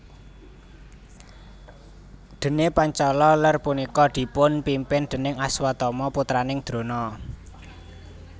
Dene Pancala Ler punika dipun pimpin déning Aswatama putranipun Drona